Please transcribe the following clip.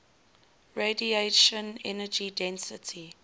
radiation energy density